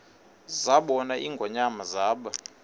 zabona ingonyama zaba